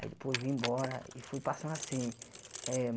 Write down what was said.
Aí depois vim embora e fui passar assim eh.